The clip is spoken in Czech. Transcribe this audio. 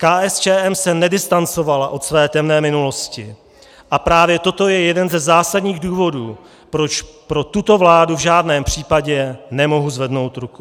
KSČM se nedistancovala od své temné minulosti a právě toto je jeden ze zásadních důvodů, proč pro tuto vládu v žádném případě nemohu zvednout ruku.